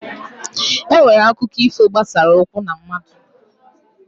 E nwere akụkọ ifo gbasara ụkwụ na mmadụ.